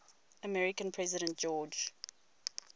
american president george